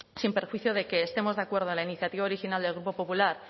sin perjuicio de que estemos de acuerdo en la iniciativa original del grupo popular